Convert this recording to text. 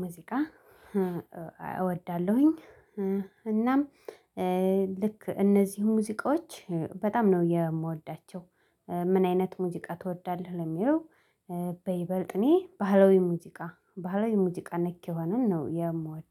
ሙዚቃ እወዳለሁኝ እናም ልክ እነዚህን ሙዚቃዎች በጣም ነው የምወዳቸው ምን አይነት ሙዚቃ ትወዳለህ ለሚለው በይበልጥ እኔ ባህላዊ ሙዚቃ ባህላዊ ሙዚቃ ነክ የሆነን ነው የምወድ